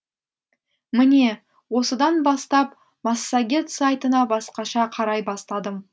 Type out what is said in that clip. міне осыдан бастап массагет сайтына басқаша қарай бастадым